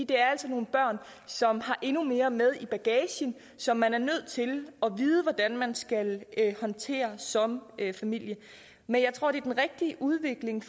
det er altså nogle børn som har endnu mere med i bagagen som man er nødt til at vide hvordan man skal håndtere som familie men jeg tror det er den rigtige udvikling